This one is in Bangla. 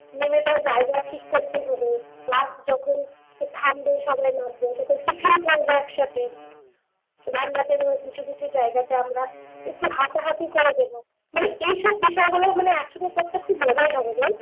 নেমে ধর জায়গা ঠিক করতে হবে বাস যখন থামবে সবাই নামবো তারপর একসাথে কিছু কিছু জায়গাতে আমরা একটু হাঁটাহাঁটি করা গেল মানে এইসব বিষয়গুলো মানে একসাথে করতে খুব মজাই হবে বল